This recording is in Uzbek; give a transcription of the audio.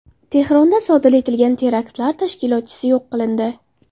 Tehronda sodir etilgan teraktlar tashkilotchisi yo‘q qilindi.